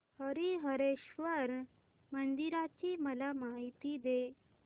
हरीहरेश्वर मंदिराची मला माहिती दे